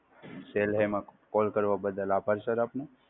Cell Hey માં Call કરવા બદલ આભાર Sir આપનો!